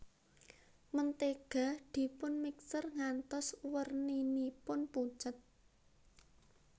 Mentega dipun mixer ngantos werninipun pucet